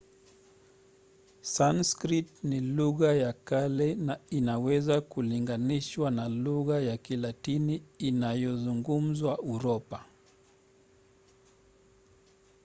sanskrit ni lugha ya kale na inaweza kulinganishwa na lugha ya kilatini inayozungumzwa uropa